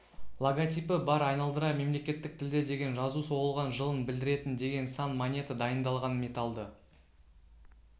логотипі бар айналдыра мемлекеттік тілде деген жазу соғылған жылын білдіретін деген сан монета дайындалған металды